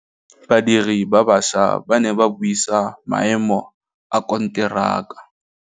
Badiri ba baša ba ne ba buisa maêmô a konteraka.